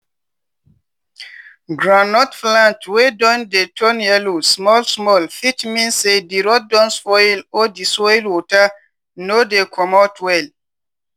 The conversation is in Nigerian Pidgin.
groundnut plant wey don dey turn yellow small small fit mean say di root don spoil or di soil water no dey comot well.